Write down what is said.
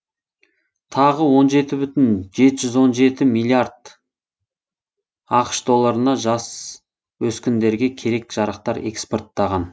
тағы он жеті бүтін жеті жүз он жеті миллиард ақш долларына жасөскіндерге керек жарақтар экспорттаған